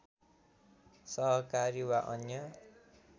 सहकारी वा अन्य